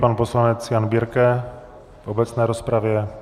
Pan poslanec Jan Birke v obecné rozpravě.